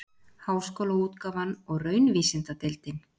Háskólaútgáfan og Raunvísindadeild.